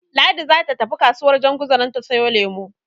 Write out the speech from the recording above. Ladi zata je kasuwar Janguza don ta siyo lemo.